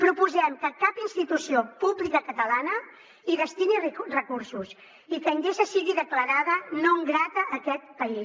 proposem que cap institució pública catalana hi destini recursos i que endesa sigui declarada non grata a aquest país